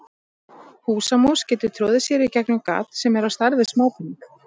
Húsamús getur troðið sér í gegnum gat sem er á stærð við smápening.